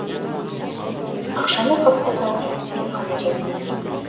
ақшаны қапқа салып емхана жетті